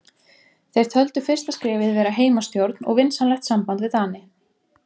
Þeir töldu fyrsta skrefið vera heimastjórn og vinsamlegt samband við Dani.